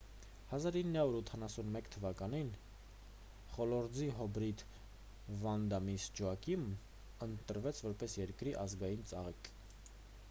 1981 թվականին խոլորձի հիբրիդ վանդա միսս ջոակիմն ընտրվեց որպես երկրի ազգային ծաղիկ